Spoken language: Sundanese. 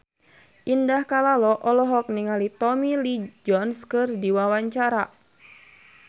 Indah Kalalo olohok ningali Tommy Lee Jones keur diwawancara